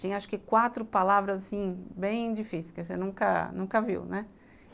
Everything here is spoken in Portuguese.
Tinha acho que quatro palavras assim, bem difíceis, que você nunca nunca viu, né?